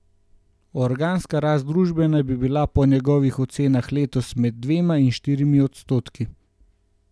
Organska rast družbe naj bi bila po njegovih ocenah letos med dvema in štirimi odstotki.